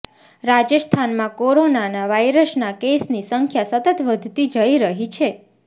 રાજસ્થાનમાં કોરોના વાયરસના કેસની સંખ્યા સતત વધતી જઇ રહી છે